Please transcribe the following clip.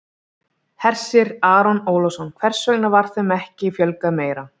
Hersir Aron Ólafsson: Hvers vegna var þeim ekki fjölgað meira?